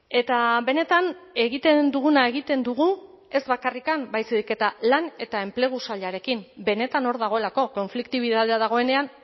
eta benetan egiten duguna egiten dugu ez bakarrik baizik eta lan eta enplegu sailarekin benetan hor dagoelako konfliktibitatea dagoenean